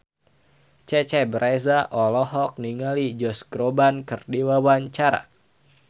Cecep Reza olohok ningali Josh Groban keur diwawancara